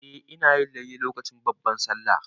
Eh, ina yin layya lokacin babban Sallah.